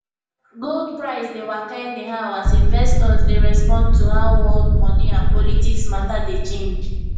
gold price dey waka anyhow as investors dey respond to how world moni and politics matter dey change